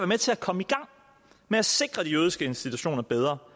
med til at komme i gang med at sikre de jødiske institutioner bedre